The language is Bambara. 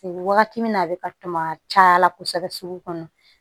Wagati min na a bɛ ka caya la kosɛbɛ sugu kɔnɔ